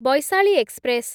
Vaishali express